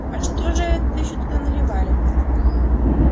а что же это ещё туда наливали